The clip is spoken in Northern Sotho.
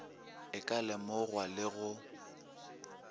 e ka lemogwa le go